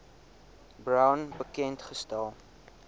brown bekend gestel